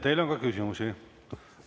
Teile on ka küsimusi.